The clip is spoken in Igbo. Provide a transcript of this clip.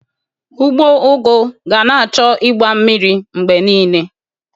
Ugbo ụgụ ga na-achọ ịgba mmiri mgbe niile